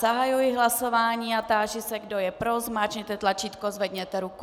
Zahajuji hlasování a táži se, kdo je pro, zmáčkněte tlačítko, zvedněte ruku.